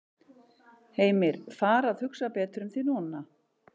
Heimir: Fara að hugsa betur um þig núna?